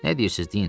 Nə deyirsiniz deyin.